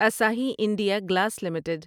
Asahi India glass limited